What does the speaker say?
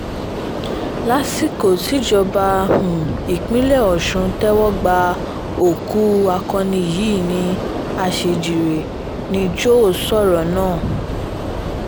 lásìkò tíjọba um ìpínlẹ̀ ọ̀sùn ń tẹ́wọ́ gba òkú um akọni yìí ní àṣejíire ni joe sọ̀rọ̀ náà